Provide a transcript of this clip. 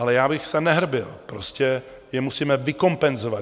Ale já bych se nehrbil - prostě je musíme vykompenzovat.